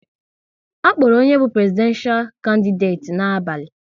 A kpọrọ onye bụ Prezidenshal kandideti n'abalị